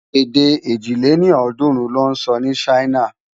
Edé èjì lé ní ọ́ọ̀dúnrún lò nsò ni Ṣaina